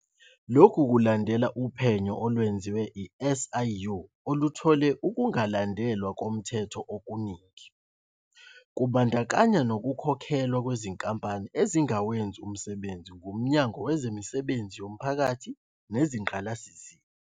Lokhu kulandela uphenyo olwenziwe i-SIU oluthole ukungalandelwa komthetho okuningi, kubandakanya nokukhokhelwa kwezinkampani zingakawenzi umsebenzi nguMnyango Wezemisebenzi Yomphakathi Nezingqalasizinda.